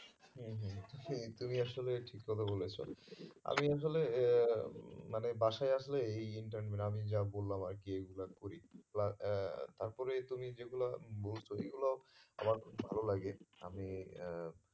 হম হম তুমি আসলে ঠিক কথা বলেছো আমি আসলে আহ মানে বাসায় আসলে এই intern গুলো আমি যা বললাম আর কি এইগুলো আমি করি plus আহ তারপরে তুমি যেইগুলো বলছো ওইগুলো আমার খুব ভালো লাগে আমি আহ